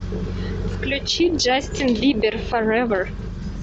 включи джастин бибер форевер